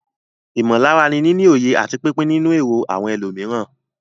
Ìmọ̀lára ni níní òye àti pípín nínú èrò àwọn ẹlòmíràn.